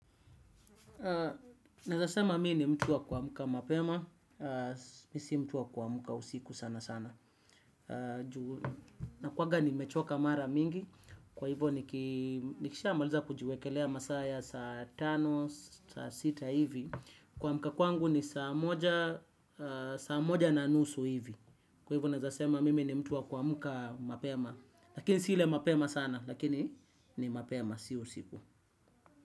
Neza sema mi ni mtu wakuamka mapema, mi si mtu wa kuamka usiku sana sana. Nakuwaga nimechoka mara mingi, kwa hivo nikisha maliza kujiwekelea masaa ya saa tano, saa sita hivi. Kuamka kwangu ni saa moja na nusu hivi. Kwa hivo na za sema mimi ni mtuwa kwa muka mapema. Lakini si ile mapema sana, lakini ni mapema, sio usiku.